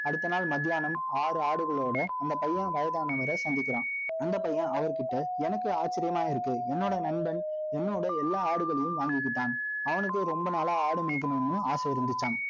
அடுத்த நாள், மத்தியானம், ஆறு ஆடுகளோட, அந்த பையன், வயதானவரை, சந்திக்கிறான் அந்த பையன் அவர் கிட்ட, எனக்கு ஆச்சரியமா இருக்கு. என்னோட நண்பன், என்னோட, எல்லா ஆடுகளையும் வாங்கிக்கிட்டான். அவனுக்கு, ரொம்ப நாளா, ஆடு மேய்க்கணும்ன்னு, ஆசை இருந்துச்சாம்